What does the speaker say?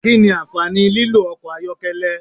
Kí nì ànfàní tí lílò ọkọ ayọkẹlẹ?